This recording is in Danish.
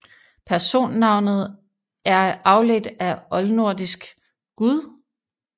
Personnavnet er afledt af oldnordisk guð